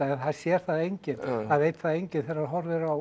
það sér það enginn það veit það enginn þegar hann horfir á